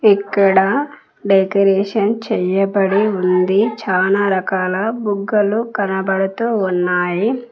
ఇక్కడ డెకరేషన్ చేయబడి ఉంది చాలా రకాల బుగ్గలు కనబడుతూ ఉన్నాయి.